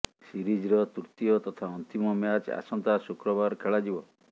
ସିରିଜ୍ର ତୃତୀୟ ତଥା ଅନ୍ତିମ ମ୍ୟାଚ୍ ଆସନ୍ତା ଶୁକ୍ରବାର ଖେଳା ଯିବ